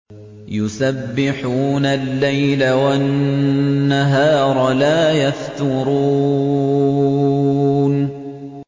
يُسَبِّحُونَ اللَّيْلَ وَالنَّهَارَ لَا يَفْتُرُونَ